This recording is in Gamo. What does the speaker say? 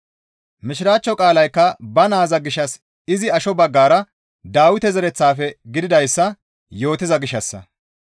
Mishiraachcho qaalaykka ba naaza gishshas izi asho baggara Dawite zereththafe gididayssa yootiza gishshassa.